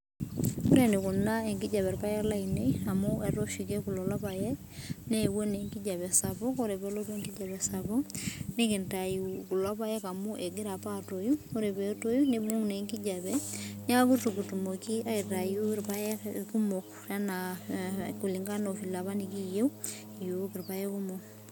Ore enikuna enkijiape irpaek lainei amu etaa oshi keeku lelo paek newuo naa enjiape sapuk ore pee elotu enkijiape sapuk nikintayu kulo paek amu egira apa atoi ore pee etii nibung naa enkijiape nitakua eitu kitumoki aitau irpaek kumok enaa kulingana apa ovile nikiyieu iyiok irpaek kumok